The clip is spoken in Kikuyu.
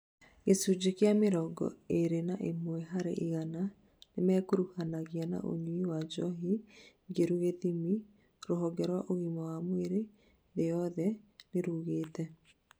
gĩchunjĩ kia mĩrongo ĩrĩ na imwe harĩ igana, nĩmekuruhanagia na ũnyui wa njohi ngeru gĩthimi, rũhonge rwa ũgima wa mwĩrĩ thĩ yothe nirugĩte